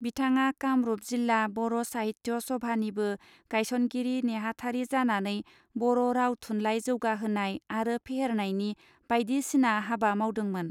बिथाङा कामरूप जिल्ला बर साहित्य सभानिबो गायसनगिरि नेहाथारिजानानै बर राव थुनलाइ जौगाहोनाय आरो फेहेरनायनि बायदिसिना हाबा मावदोंमोन.